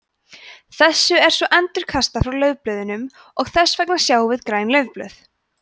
þessu er svo endurkastað frá laufblöðunum og þess vegna sjáum við græn laufblöð